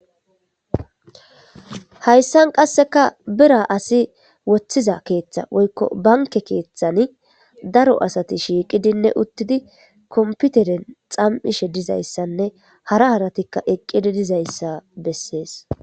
hayssan qasseka bira asi woththiza keeththa woykko banke keeththani daro asati shiiqidinne uttidi komputeren xam7ishe dizayssanne hara haratikka eqqidi dizayssa bessees